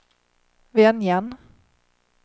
Venjan